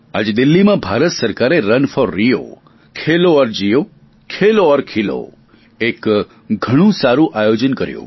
આજે દિલ્લીમાં ભારત સરકારે રન ફોર રિયો ખેલો ઔર જિઓ ખેલો ઔર ખિલો એક ઘણુ સારું આયોજન કર્યુ